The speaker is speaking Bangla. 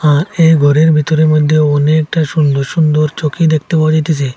এ ঘরের ভেতরে মইদ্যে অনেকটা সুন্দর সুন্দর চকি দেকতে পাওয়া যাইতেছে।